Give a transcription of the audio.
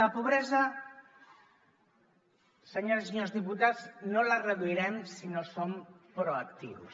la pobresa senyores i senyors diputats no la reduirem si no som proactius